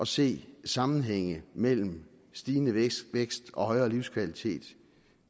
se sammenhænge mellem stigende vækst og højere livskvalitet